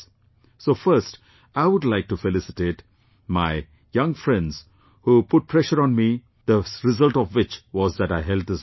So first I would like to felicitate my young friends who put pressure on me, the result of which was that I held this meeting